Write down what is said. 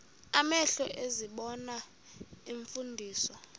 amehlo ezibona iimfundiso